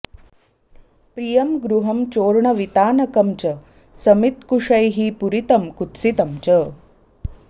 प्रियं गृहं चोर्णविता नकं च समित्कुशैः पूरितं कुत्सितं च